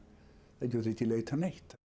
það getur ekki leitað neitt